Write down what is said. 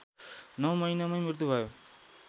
नौ महिनामै मृत्यु भयो